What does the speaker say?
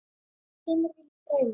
Kemur ekki til greina.